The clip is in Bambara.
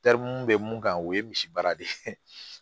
mun be mun kan o ye misi baara de ye